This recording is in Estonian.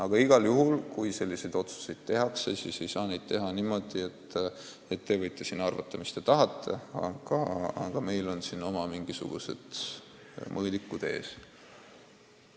Aga igal juhul, kui sellise sisuga otsuseid kaalutakse, siis ei saa neid langetada niimoodi, et te võite siin arvata, mis te tahate, meil on siin oma mingisugused mõõdikud ees.